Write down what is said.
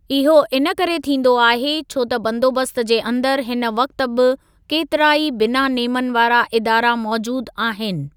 इहो इनकरे थींदो आहे, छो त बंदोबस्त जे अंदर हिन वक़्ति बि केतिरा ई बिना नेमनि वारा इदारा मौजूद आहिनि।